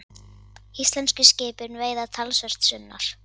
Íslensku skipin veiða talsvert sunnar.